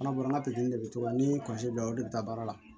An ka baara pikiri de bɛ to an ni de bɛ taa baara la